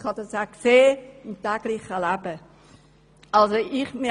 Ich habe dies auch im täglichen Leben gesehen.